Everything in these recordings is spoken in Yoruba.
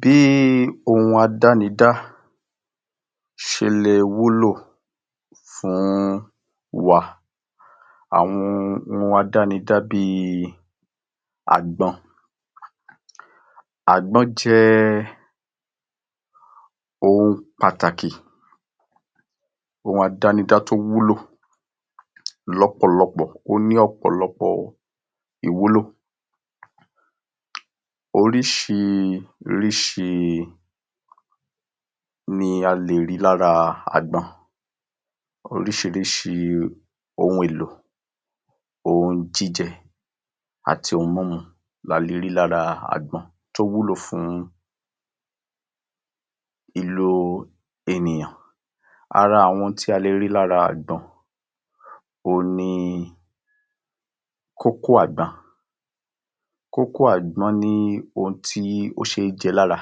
Bí ohun àdánidá ṣe le wúlò fún wa. Àwọn ohun àdánidá bí i àgbọn. Àgbọn jẹ́ ohun pàtàkì, ohun àdánidá tó wúlò lọ́pọ̀lọpọ̀. Ó ní ọ̀pọ̀lọpọ̀ ìwúlò. Oríṣiríṣi ni a lè rí lára àgbọn. Oríṣiríṣi ohun èlò, ohun jíjẹ, àti ohun mímu la le rí lára àgbọn tó wúlò fún ìlo ènìyàn. Ara àwọn ohun tí a le rí lára àgbọn, òhun ni kókó àgbọn. Kókó àgbọn ní ohun tí ó ṣeé jẹ lára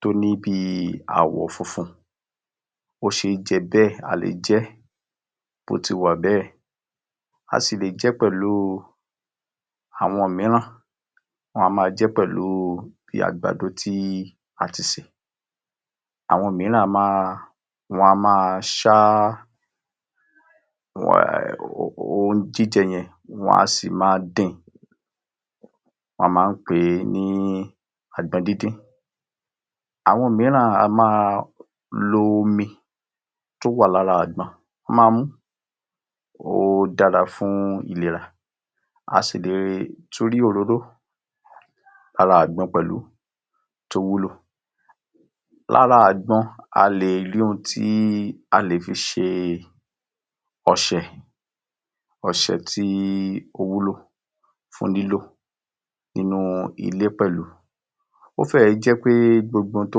tó ní bí i àwọ̀ funfun. Ó ṣeé jẹ bẹ́ẹ̀. A lè jẹ́ bótiwà bẹ́ẹ̀. A sì lè jẹ́ pẹ̀lú àwọn mìíràn wọ́n a máa jẹ́ pẹ̀lú bí àgbàdo tí a ti sè. Àwọn mìíràn a máa, wọn a máa ṣá um ohun jíjẹ yẹn, wọ́n a sì máa din, wọ́n máa ń pè ní àgbọn díndín. Àwọn mìíràn a máa lo omi tó wà lára àgbọn, wọ́n máa mú, ó dára fún ìlera. A sì lè tún rí òróró lára àgbọn pẹ̀lú tó wúlò. Lára àgbọn a lè rí n tí a lè fi ṣe ọṣẹ, ọṣẹ tí ó wúlò fún lílo nínú ilé pẹ̀lú. Ó fẹ́ẹ̀ jẹ pé gbogbo ohun tó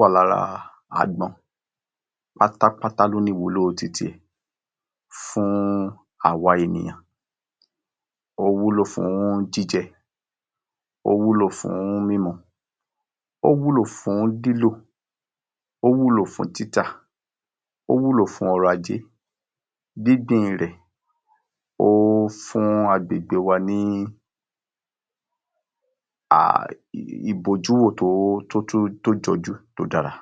wà lára àgbọn pátápátá ló ní ìwúlò titi ẹ̀ fún àwa ènìyàn. Ó wúlò fún jíjẹ, ó wúlò fún mímu, ó wúlò fún lílo, ó wúlò fún títà, ó wúlò fún ọrọ̀-ajé. Gbíngbìn rẹ̀, ó fún agbègbè wa ní um ìbojúwò tó tó tún jọjú tó dára.